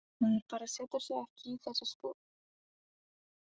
Maður bara setur sig ekki í þessi spor.